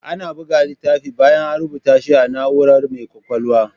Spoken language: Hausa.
Ana buga littafi bayan A rubata shi a na'urar mai kwakwalwa